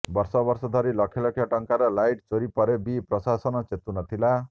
ବର୍ଷବର୍ଷ ଧରି ଲକ୍ଷଲକ୍ଷ ଟଙ୍କାର ଲାଇଟ୍ ଚୋରି ପରେ ବି ପ୍ରଶାସନ ଚେତୁନଥିଲା